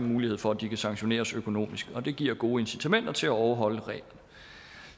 mulighed for at de kan sanktioneres økonomisk det giver gode incitamenter til at overholde reglerne